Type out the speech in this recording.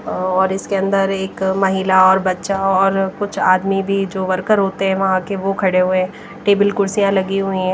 और इसके अंदर एक महिला और बच्चा और कुछ आदमी भी जो वर्कर होते हैं वहां के वह खड़े हुए हैं टेबल कुर्सियां लगी हुई ।